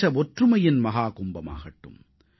தேச ஒற்றுமையின் மஹாகும்பமாகட்டும்